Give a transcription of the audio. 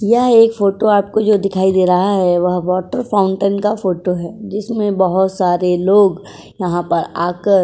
यह एक फोटो जो आपको दिखाई दे रहा है वह वाटर फाउंटेन का फोटो है। जिसमें बोहोत सारे लोग यहां पर आकर --